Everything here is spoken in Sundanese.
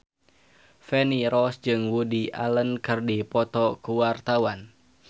Feni Rose jeung Woody Allen keur dipoto ku wartawan